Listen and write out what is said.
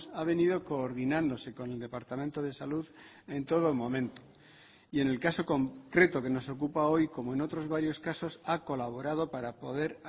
ha venido coordinándose con el departamento de salud en todo momento y en el caso concreto que nos ocupa hoy como en otros varios casos ha colaborado para poder